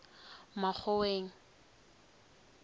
makgoweng